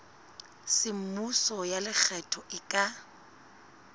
semmuso ya lekgetho e ka